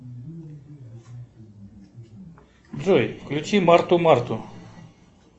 джой включи марту марту